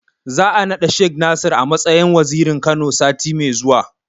Za'a naɗa Shek Nasir a matsayin Wazirin Kano, sati mai zuwa.